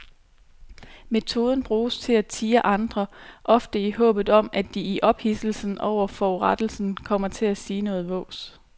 Metoden bruges til at tirre andre, ofte i håbet om at de i ophidselsen over forurettelsen kommer til at sige noget vås.